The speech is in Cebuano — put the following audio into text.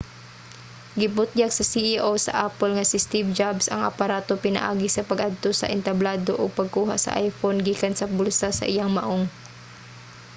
gibutyag sa ceo sa apple nga si steve jobs ang aparato pinaagi sa pag-adto sa entablado ug pagkuha sa iphone gikan sa bulsa sa iyang maong